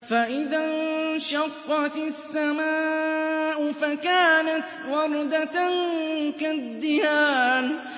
فَإِذَا انشَقَّتِ السَّمَاءُ فَكَانَتْ وَرْدَةً كَالدِّهَانِ